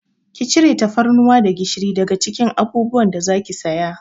Ki cire tafarnuwa da gishiri daga cikin abubuwan da za ki saya!